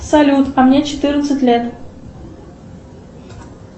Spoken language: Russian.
салют а мне четырнадцать лет